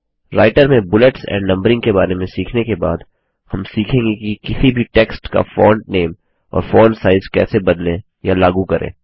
writer में bullets and numbering के बारे में सीखने के बाद हम खीखेंगे कि किसी भी टेक्स्ट का फोंट नामे और फोंट साइज कैसे बदलें या लागू करें